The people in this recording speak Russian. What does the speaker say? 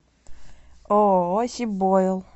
ооо сибойл